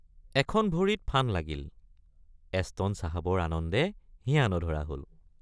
এখন ভৰিত ফান লাগিল—এছটন চাহাবৰ আনন্দে হিয়া নধৰা হল।